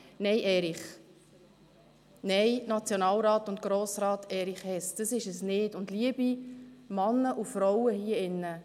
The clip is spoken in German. Nein, Erich Hess, nein! Nationalrat und Grossrat Erich Hess, das ist es nicht, und liebe Männer und Frauen hier drin: